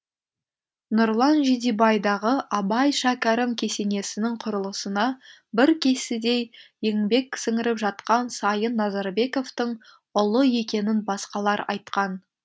нұрлан жидебайдағы абай шәкәрім кесенесінің құрылысына бір кісідей еңбек сіңіріп жатқан сайын назарбековтің ұлы екенін басқалар айтқан